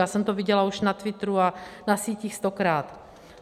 Já jsem to viděla už na Twitteru a na sítích stokrát.